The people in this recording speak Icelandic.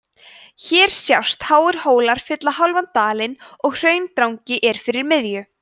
hér sjást háir hólar fylla hálfan dalinn og hraundrangi er fyrir miðju